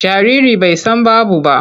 Jariri bai san babu ba.